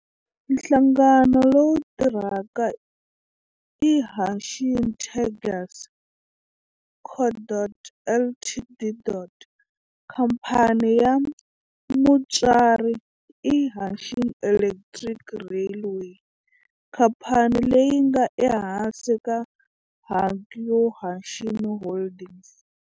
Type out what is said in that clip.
Nhlangano lowu tirhaka i Hanshin Tigers Co., Ltd. Khamphani ya mutswari i Hanshin Electric Railway, khamphani leyi nga ehansi ka Hankyu Hanshin Holdings.